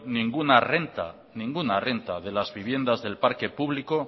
ninguna renta de las viviendas del parque público